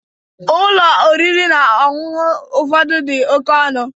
Ụlọ oriri na ọṅụṅụ ụfọdụ dị oke ọnụ.